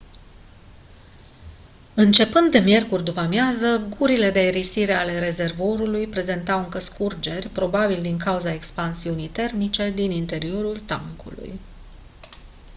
începând de miercuri după-amiază gurile de aerisire ale rezervorului prezentau încă scurgeri probabil din cauza expansiunii termice din interiorul tancului